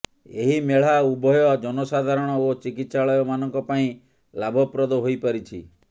ଏହି ମେଳା ଉଭୟ ଜନସାଧାରଣ ଓ ଚିକିତ୍ସାଳୟମାନଙ୍କ ପାଇଁ ଲାଭପ୍ରଦ ହୋଇପାରିଛି